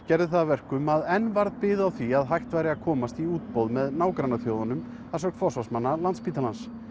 gerði það að verkum að enn varð bið á því að hægt væri að komast í útboð með nágrannaþjóðunum að sögn forsvarsmanna Landspítalans